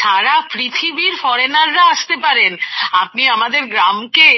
সারা পৃথিবীর ফরেনাররা আসতে পারেন আপনি আমাদের গ্রামকে